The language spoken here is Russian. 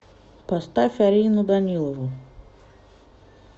поставь арину данилову